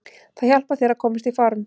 Það hjálpar þér að komast í form.